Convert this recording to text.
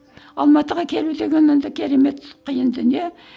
алматыға келу деген енді керемет қиын дүние